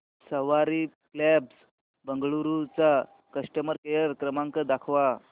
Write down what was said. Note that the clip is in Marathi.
सवारी कॅब्झ बंगळुरू चा कस्टमर केअर क्रमांक दाखवा